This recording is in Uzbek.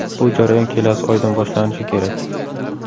Bu jarayon kelasi oydan boshlanishi kerak.